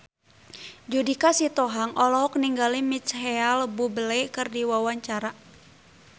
Judika Sitohang olohok ningali Micheal Bubble keur diwawancara